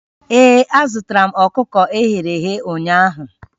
Ee, azụtaram ọkụkọ e ghere eghe ụnyaahụ